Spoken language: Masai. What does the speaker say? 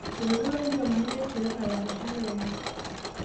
Eitodolotua irkiomani le siasa lakeshak lenye